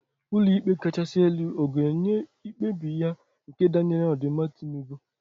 Ulo ikpe kachasi elu ọ ga-enye mkpebi ya nke danyere n'odimma Tinubu?